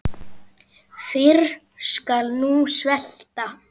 Fyrr skal hún svelta.